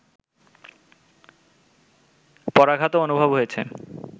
পরাঘাতও অনুভূত হয়েছে